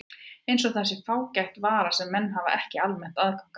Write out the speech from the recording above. Eins og það sé fágæt vara sem menn hafi ekki almennt aðgang að.